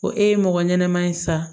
Ko e ye mɔgɔ ɲɛnɛman ye sa